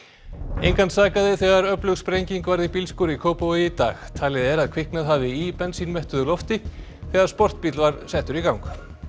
engan sakaði þegar öflug sprenging varð í bílskúr í Kópavogi í dag talið er að kviknað hafi í lofti þegar sportbíll var settur í gang